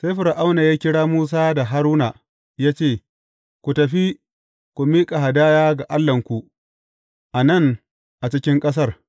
Sai Fir’auna ya kira Musa da Haruna ya ce, Ku tafi, ku miƙa hadaya ga Allahnku, a nan a cikin ƙasar.